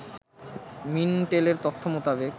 মিনটেলের তথ্য মোতাবেক